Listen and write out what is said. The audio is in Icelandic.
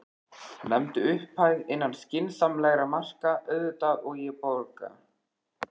Nefndu upphæð, innan skynsamlegra marka auðvitað, og ég borga.